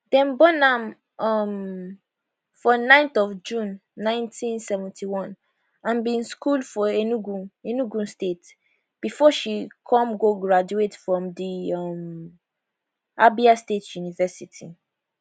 dem born am um for 9th of june 1971 and bin schol for enugu enugu state bifor she come go graduate from di um abia state university